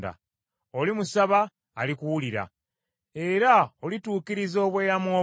Olimusaba, alikuwulira, era olituukiriza obweyamo bwo.